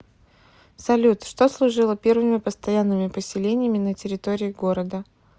салют что служило первыми постоянными поселениями на территории города